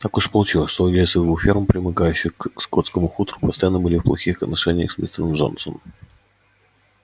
так уж получилось что владельцы двух ферм примыкающих к скотскому хутору постоянно были в плохих отношениях с мистером джонсом